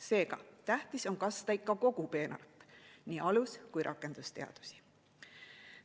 Seega, tähtis on kasta ikka kogu peenart, nii alus‑ kui ka rakendusteadusi.